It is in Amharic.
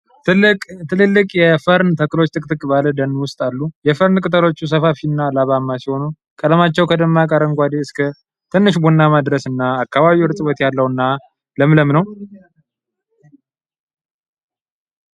ትልልቅ የፈርን ተክሎች ጥቅጥቅ ባለ ደን ውስጥ አሉ። የፈርን ቅጠሎች ሰፋፊ እና ላባማ ሲሆኑ፣ ቀለማቸው ከደማቅ አረንጓዴ እስከ ትንሽ ቡናማ ድረስ እና አካባቢው እርጥበት ያለው እና ለምለም ነው።